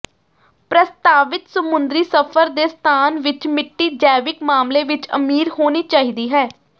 ਪ੍ਰਸਤਾਵਿਤ ਸਮੁੰਦਰੀ ਸਫ਼ਰ ਦੇ ਸਥਾਨ ਵਿੱਚ ਮਿੱਟੀ ਜੈਵਿਕ ਮਾਮਲੇ ਵਿੱਚ ਅਮੀਰ ਹੋਣੀ ਚਾਹੀਦੀ ਹੈ